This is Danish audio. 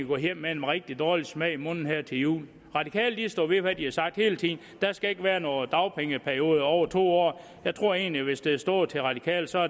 gå hjem med en rigtig dårlig smag i munden her til jul radikale står ved hvad de har sagt hele tiden der skal ikke være nogen dagpengeperiode på over to år jeg tror egentlig at hvis det havde stået til radikale så